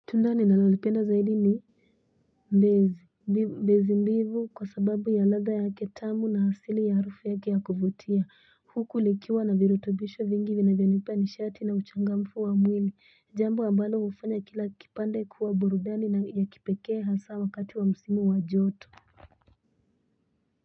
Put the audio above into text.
Tunda ninalolipenda zaidi ni ndizi mbivu kwa sababu ya ladha yake tamu na asili ya harufu yake ya kuvutia huku likiwa na virutubishi vingi vinavyonipea nishati na uchangamfu wa mwili jambo ambalo hufanya kila kipande kuwa burudani na ya kipekee hasa wakati wa msimu wa joto.